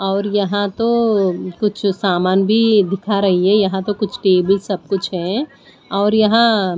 और यहां तो कुछ सामान भी दिखा रही है यहां तो कुछ टेबल सब कुछ है और यहां--